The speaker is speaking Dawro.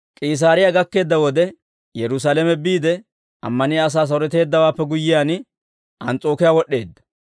K'iisaariyaa gakkeedda wode Yerusaalame biide, ammaniyaa asaa saroteeddawaappe guyyiyaan, Ans's'ookiyaa wod'd'eedda.